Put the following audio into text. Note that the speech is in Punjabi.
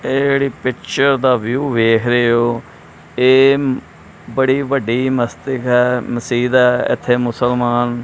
ਇਹ ਜਿਹੜੀ ਪਿੱਚਰ ਦਾ ਵਿਊ ਵੇਖ ਰਹੇ ਹੋ ਇਹ ਬੜੀ ਵੱਡੀ ਮਸਤੀ ਹੈ ਮਸੀਦ ਹੈ ਇਥੇ ਮੁਸਲਮਾਨ--